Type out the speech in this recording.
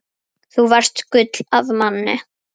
Þú varst gull af manni.